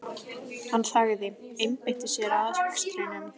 Hann þagði, einbeitti sér að akstrinum.